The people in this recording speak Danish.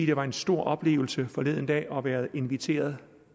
det var en stor oplevelse forleden dag at være inviteret